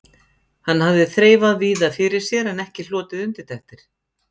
Hann hafði þreifað víða fyrir sér en ekki hlotið undirtektir.